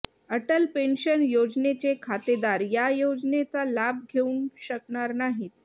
Atal pension योजनेचे खातेदार या योजनेचा लाभ घेऊ शकणार नाहीत